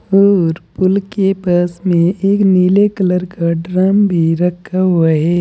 और पुल के पास में एक नीले कलर का ड्रम भी रखा हुआ है।